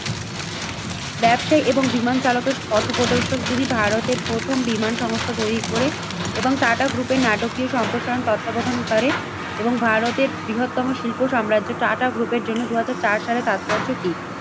ব্যবসায়ী এবং বিমান চালকের পথপ্রদর্শক। যিনি ভারতের প্রথম বিমান সংস্থা তৈরি করে এবং টাটা গ্রুপে নাটকীয় সম্প্রসারণ তত্ত্বাবধান করে এবং ভারতের বৃহত্তম শিল্প সাম্রাজ্য টাটা গ্রুপের জন্য দুই হাজার চার সালে তাৎপর্য কি?